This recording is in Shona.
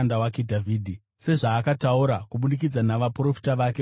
sezvaakataura kubudikidza navaprofita vake vatsvene vekare,